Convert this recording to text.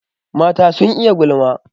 Mata sun iya gulma.